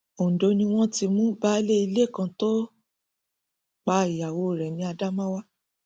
ondo ni wọn ti mú baálé ilé kan tó pa ìyàwó rẹ ní adamawa